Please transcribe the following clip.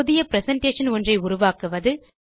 புதிய பிரசன்டேஷன் ஒன்றை உருவாக்குவது